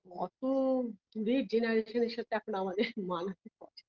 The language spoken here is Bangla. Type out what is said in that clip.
অত -র সাথে এখন আমাদের LOUGH মানায়